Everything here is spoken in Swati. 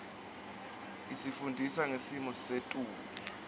isifundisa ngesimo setulu